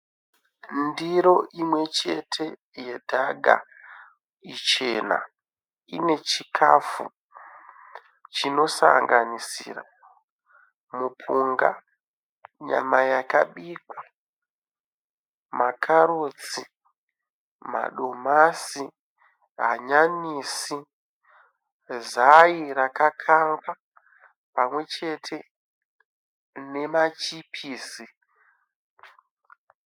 Ndiro imwechete yedhaka ichena ine chikafu chinosanganisira mupunga, nyama yakabikwa, makarotsi, madomasi, hanyanisi, zai rakangangwa pamwe chete machipisi.